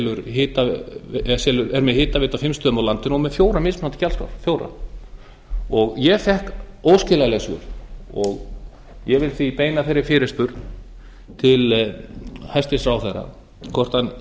hitaveitu á fimm stöðum á landinu og er með fjórar mismunandi gjaldskrár ég fékk óskiljanleg svör og ég vil því beina þeirri fyrirspurn til hæstvirts ráðherra hvort hann